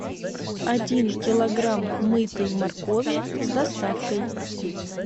один килограмм мытой моркови с доставкой